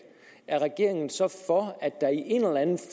er regeringen så for